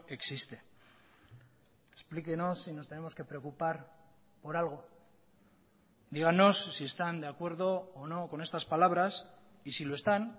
existe explíquennos si nos tenemos que preocupar por algo dígannos si están de acuerdo o no con estas palabras y si lo están